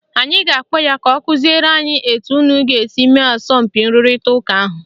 Anyị ga-akpọ ya ka ọ kụziere unu etu unu ga - esi mee asọmpi nrụrịta ụka ahụ